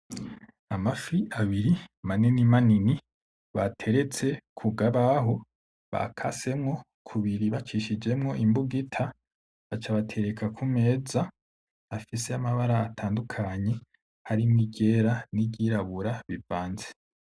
Amafi abiri manini manini bateretse ku kabaho bakasemwo kubiri bacishijemwo imbugita baca batereka ku meza afise amabara atandukanye harimwo iryera n'iryirabura bivanze.